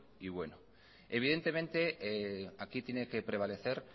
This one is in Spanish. y bueno evidentemente aquí tiene que prevalecer